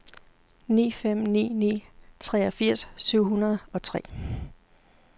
ni fem ni ni treogfirs syv hundrede og tre